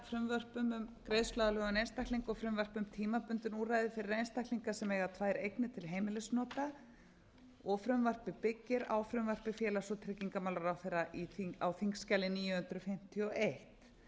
frumvörpum um greiðsluaðlögun einstaklinga og frumvarp um tímabundin úrræði fyrir einstaklinga sem eiga tvær eignir til heimilisnota og frumvarpið byggir á frumvarpi félags og tryggingamálaráðherra á þingskjali níu hundruð fimmtíu og